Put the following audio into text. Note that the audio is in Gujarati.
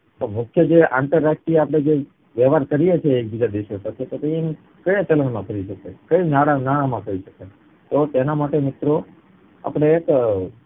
તો મુખ્ય જે આંતરરાષ્ટ્રીય આપડે જે વેવાર કરીયે છીએ બીજા દેશો સાથે તે કયા ચલણ માં કરી શકાય કય કયા નાણાં માં કરી શકાય? તો તેના માટે મુખ્ય આપડે એક અ